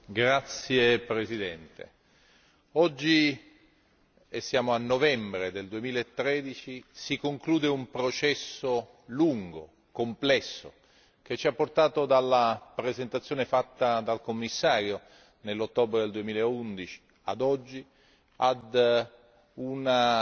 Signora Presidente, oggi, e siamo a novembre 2013, si conclude un processo lungo e complesso, che ci ha portato, dalla presentazione fatta dal Commissario nell'ottobre 2011 a oggi, a una